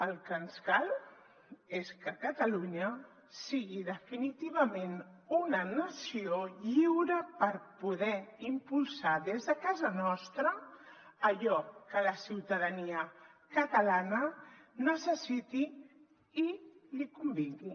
el que ens cal és que catalunya sigui definitivament una nació lliure per poder impulsar des de casa nostra allò que la ciutadania catalana necessiti i li convingui